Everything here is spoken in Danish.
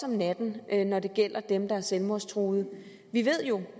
om natten når det gælder dem der er selvmordstruet vi ved jo